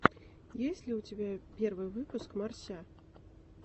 есть ли у тебя первый выпуск морся